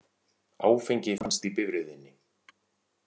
Áfengi fannst í bifreiðinni